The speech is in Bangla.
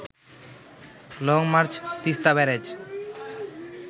long march Teesta barrage